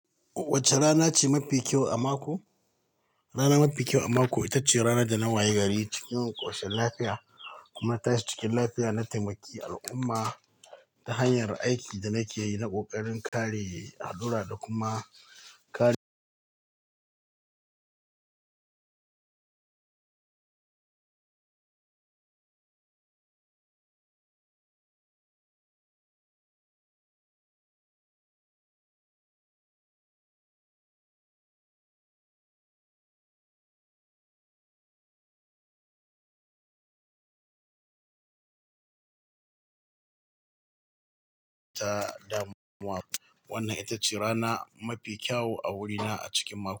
Wacce rana ce mafi kyau a mako? Rana mafi kyau a mako ita ce rana da na waye gari cikin ƙarshen lafiya kuma ta shi cikin lafiya na taimaki al'umma ta hanyar aikin da nake yi na ƙoƙarin kare hadura da kuma kare damuwa, wanda ita ce rana mafi kyau a wurina a cikin mako.